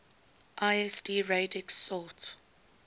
lsd radix sort